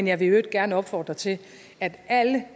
jeg vil i øvrigt gerne opfordre til at alle